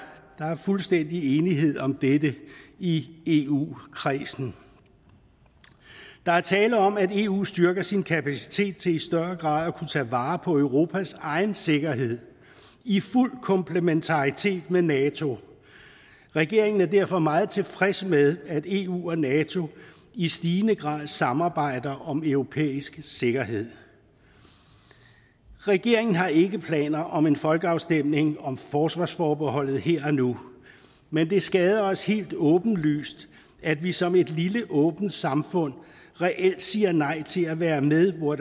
fuldstændig enighed om dette i eu kredsen der er tale om at eu styrker sin kapacitet til i større grad at kunne tage vare på europas egen sikkerhed i fuld komplementaritet med nato regeringen er derfor meget tilfreds med at eu og nato i stigende grad samarbejder om europæisk sikkerhed regeringen har ikke planer om en folkeafstemning om forsvarsforbeholdet her og nu men det skader os helt åbenlyst at vi som en lille åbent samfund reelt siger nej til at være med hvor